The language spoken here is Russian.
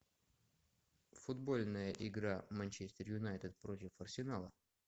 футбольная игра манчестер юнайтед против арсенала